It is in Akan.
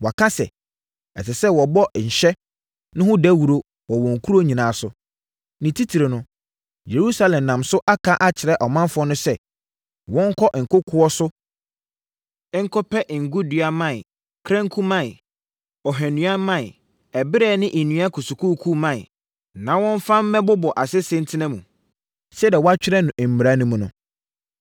Waka sɛ, ɛsɛ sɛ wɔbɔ nhyɛ no ho dawuro wɔ wɔn nkuro nyinaa so, ne titire no, Yerusalem nam so aka akyerɛ ɔmanfoɔ no sɛ, wɔnkɔ nkokoɔ so nkɔpɛ ngo dua mman, kranku mman, ohwannua mman, ɛberɛ ne nnua kusukusuu mman, na wɔmfa mmɛbobɔ asese ntena mu, sɛdeɛ wɔatwerɛ no mmara no mu no.